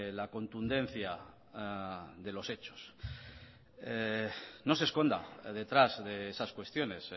la contundencia de los hechos no se esconda detrás de esas cuestiones